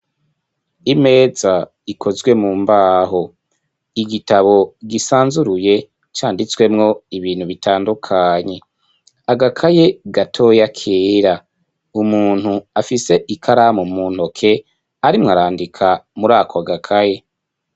Imeza, ikozwe mu mbaho; igitabo gisanzuruye, canditswemwo ibintu, bitandukanye; agakaye gatoya, kera; umuntu, afise ikaramu, mu ntoke, arimwo arandika, muri ako gakaye.